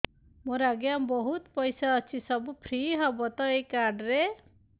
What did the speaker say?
ମୋର ଆଜ୍ଞା ବହୁତ ପଇସା ଅଛି ସବୁ ଫ୍ରି ହବ ତ ଏ କାର୍ଡ ରେ